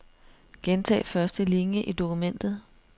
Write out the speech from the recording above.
Gentag første linie i dokumentet.